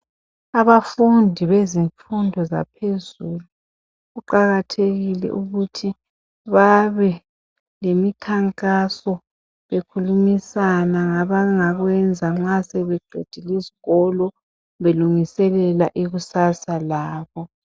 Abafundi bezifundo zaphezulu kuqakathekile ukuthi babelemikhankaso bekhulumisana ngabangakwenza nxa sebeqedile isikolo belungiselela ikusasa labo.